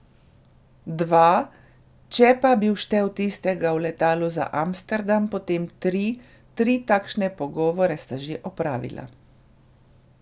Dva, če pa bi vštel tistega v letalu za Amsterdam, potem tri, tri takšne pogovore sta že opravila.